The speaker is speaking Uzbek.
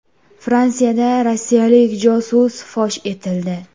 Fransiyada rossiyalik josus fosh etildi.